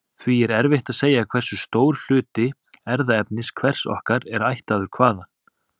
Því er erfitt að segja hversu stór hluti erfðaefnis hvers okkar er ættaður hvaðan.